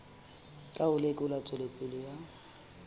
ka ho lekola tswelopele ya